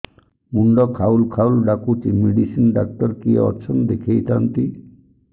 ମୁଣ୍ଡ ଖାଉଲ୍ ଖାଉଲ୍ ଡାକୁଚି ମେଡିସିନ ଡାକ୍ତର କିଏ ଅଛନ୍ ଦେଖେଇ ଥାନ୍ତି